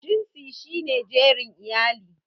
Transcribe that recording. Jinsi shi ne jerin iyali.